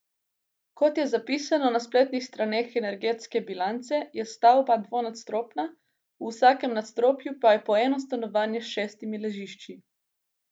Kot je zapisano na spletnih straneh Energetske bilance, je stavba dvonadstropna, v vsakem nadstropju pa je po eno stanovanje s šestimi ležišči.